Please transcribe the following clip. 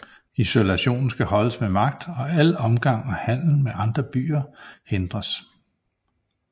Isolationen skal holdes med magt og al omgang og handel med andre byer hindres